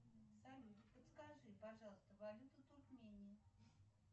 салют подскажи пожалуйста валюта туркмении